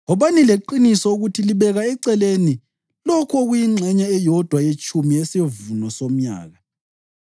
“Wobani leqiniso ukuthi libeka eceleni lokhu okuyingxenye eyodwa yetshumi yesivuno somnyaka.